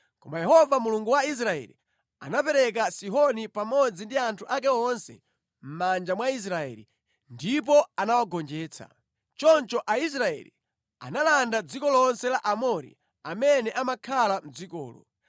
“Koma Yehova Mulungu wa Israeli anamupereka Sihoni pamodzi ndi anthu ake onse mʼmanja mwa Israeli, ndipo anawagonjetsa. Choncho Aisraeli analanda dziko lonse la Aamori amene amakhala mʼdzikolo.